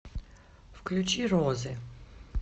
включи розы